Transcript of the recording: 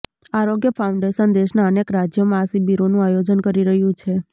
આરોગ્ય ફાઉન્ડેશન દેશના અનેક રાજ્યોમાં આ શિબિરોનું આયોજન કરી રહ્યું છે